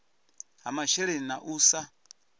ha masheleni na u sa